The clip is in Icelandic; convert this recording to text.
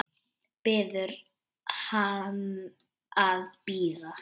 Biður hann að bíða.